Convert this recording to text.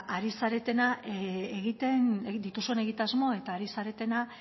ari zaretena egiten dituzuen egitasmo eta ari zaretena